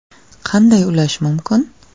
Qanday ulash mumkin ?